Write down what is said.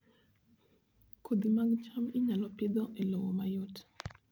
Kodhi mag cham inyalo Pidho e lowo mayot